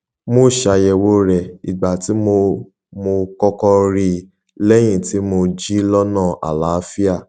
mo ṣàyèwò rẹ ìgbà tí mo mo kọkọ rí i lẹyìn tí mo jí lọnà àlááfíà